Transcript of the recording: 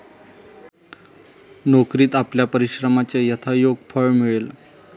नोकरीत आपल्या परिश्रमाचे यथायोग्य फळ मिळेल.